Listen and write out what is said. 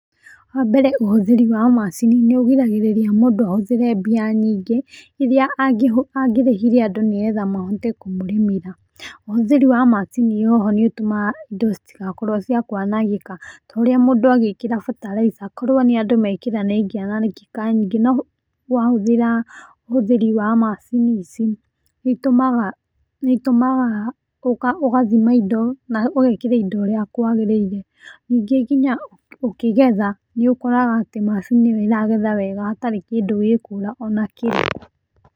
Wa mbere ũhũthĩri wa macini nĩ ũgiragĩrĩria mũndũ ahũthĩre mbia nyingĩ, iria angerĩhĩre andũ, nĩgetha mahote kũmũrĩmĩra. Ũhũthĩri wa macini o ho nĩ ũtũmaga indo citigakorwo cia kwanangĩka, ta ũrĩa mũndũ agĩkĩra bataraitha korwo nĩ andũ mekĩra nĩ ĩngĩarekeka nyingĩ no wahũthĩra ũhũthĩri wa macini ici nĩ ĩtumaga wĩĩkĩre indo ũrĩa kũagĩrĩire. Ningĩ nginya ũkĩgetha, nĩ ũkoraga atĩ macini ĩyo ĩragetha wega hatarĩ kĩndũ gĩkũra ona kĩ.